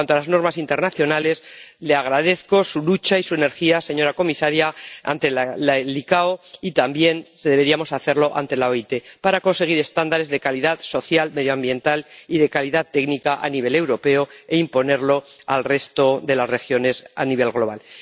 En cuanto a las normas internacionales, le agradezco su lucha y su energía, señora comisaria, ante la OACI, y también deberíamos hacerlo ante la OIT, para conseguir estándares de calidad social, medioambiental y de calidad técnica a nivel europeo e imponerlos al resto de las regiones a nivel global.